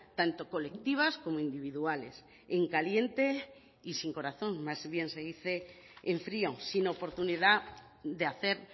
tanto colectivas como individuales en caliente y sin corazón más bien se dice en frío sin oportunidad de hacer